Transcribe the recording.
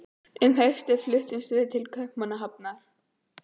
Um haustið fluttumst við til Kaupmannahafnar.